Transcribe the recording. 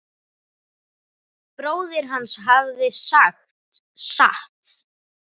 Bróðir hans hafði sagt satt.